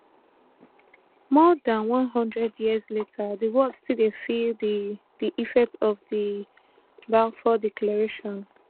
more dan one hundred years later di world still dey feel di di effects of di balfour declaration